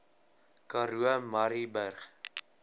karoo murrayburg